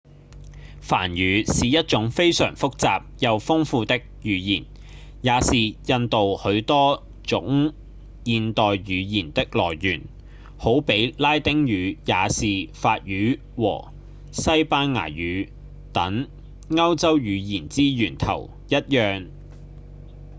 梵語是一種非常複雜又豐富的語言也是印度許多種現代語言的來源好比拉丁語也是法語和西班牙語等歐洲語言之源頭一樣